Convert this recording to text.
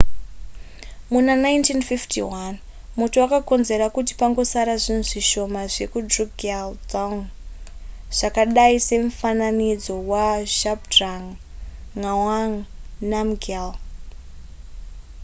muna 1951 moto wakakonzera kuti pangosara zvinhu zvishoma zvedrukgyal dzong zvakadai semufananidzo wazhabdrung ngawang namgyal